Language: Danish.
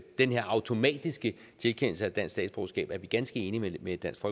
den her automatiske tilkendelse af dansk statsborgerskab er vi ganske enige med dansk